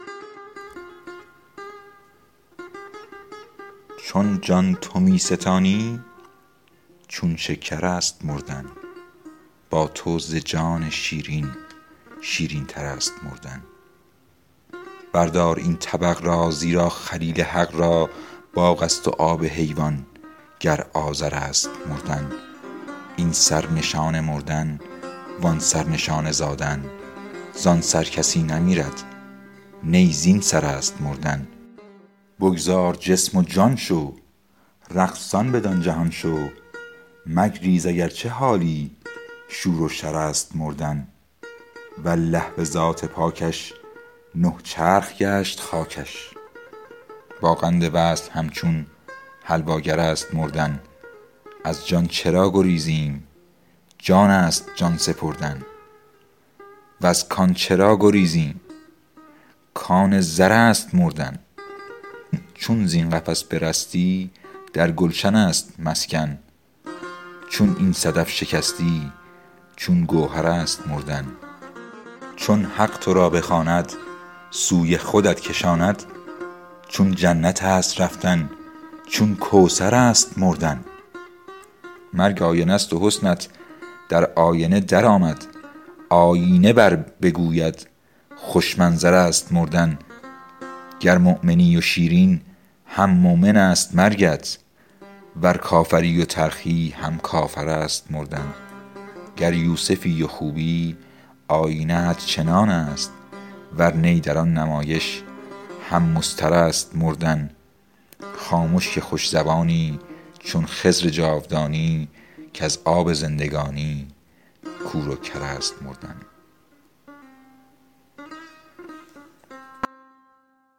چون جان تو می ستانی چون شکر است مردن با تو ز جان شیرین شیرینتر است مردن بردار این طبق را زیرا خلیل حق را باغ است و آب حیوان گر آذر است مردن این سر نشان مردن و آن سر نشان زادن زان سر کسی نمیرد نی زین سر است مردن بگذار جسم و جان شو رقصان بدان جهان شو مگریز اگر چه حالی شور و شر است مردن والله به ذات پاکش نه چرخ گشت خاکش با قند وصل همچون حلواگر است مردن از جان چرا گریزیم جان است جان سپردن وز کان چرا گریزیم کان زر است مردن چون زین قفس برستی در گلشن است مسکن چون این صدف شکستی چون گوهر است مردن چون حق تو را بخواند سوی خودت کشاند چون جنت است رفتن چون کوثر است مردن مرگ آینه ست و حسنت در آینه درآمد آیینه بربگوید خوش منظر است مردن گر مؤمنی و شیرین هم مؤمن است مرگت ور کافری و تلخی هم کافر است مردن گر یوسفی و خوبی آیینه ات چنان است ور نی در آن نمایش هم مضطر است مردن خامش که خوش زبانی چون خضر جاودانی کز آب زندگانی کور و کر است مردن